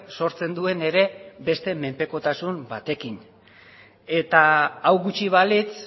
sortzen duen ere beste menpekotasun batekin eta hau gutxi balitz